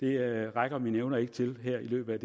rækker mine evner ikke til her i løbet